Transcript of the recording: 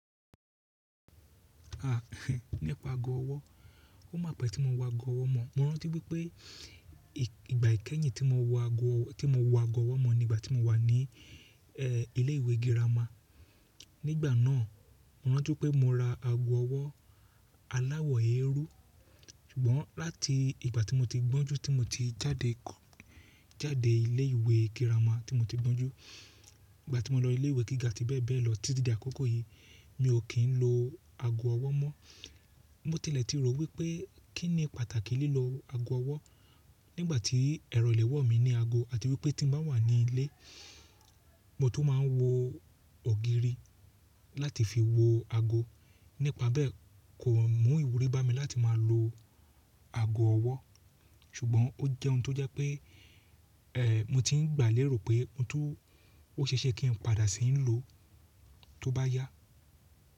A, nípa ago ọwọ́. Ó máa pẹ́ tí mo wo ago ọwọ́ mọ̀. Mo rántí wípé ìgbà ìkẹ́yìn tí mo wo ago ọwọ́ mọ̀ ni ìgbà tí mo wà ní ẹ́ ilé ìwé girama. Nígbà náà mo rántí pé mo ra ago ọwọ́ aláwọ̀ eérú. Ṣùgbọ́n láti ìgbà tí mo ti gbọ́njú tí mo ti jáde kọ́ jáde ilé ìwé girama tí mo ti gbọ́njú, ìgbà tí mo lọ ilé ìwé gíga tí bẹ́ẹ̀ bẹ́ẹ̀ lọ títí dé àkókò yìí, mi ò kí ń lo ago ọwọ́ mọ́. Mo tilẹ̀ ti rò wípé kín ni pàtàkì lílo ago ọwọ́ nígbà tí ẹrọ ìléwọ́ mi ní ago àti wípé tí n bá wà ní ilé mo tún máa ń wo ògiri láti fi wo ago. Nípa bẹ́ẹ̀ kò mú ìwúrí bá mi láti máa lo ago ọwọ́. Ṣùgbọ́n ó jẹ́ ohun tó jẹ́ pé ẹ́ mo ti ń gbà léèrò pé ohun tó ó ṣe é ṣe kí n padà ṣìi lò ó tó bá yá.